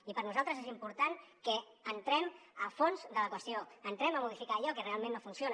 i per nosaltres és important que entrem al fons de la qüestió entrem a modificar allò que realment no funciona